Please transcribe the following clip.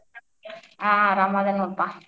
ಹಾ ಆರಾಮದೇನಿ ನೋಡ್ಪಾ.